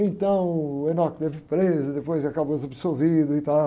Então o teve preso, depois acabou sendo absolvido e tal.